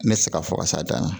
Ne tɛ se ka fɔ ka s'a dan na